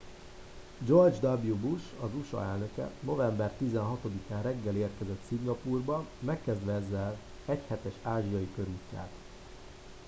george w bush az usa elnöke november 16 án reggel érkezett szingapúrba megkezdve ezzel egyhetes ázsiai körútját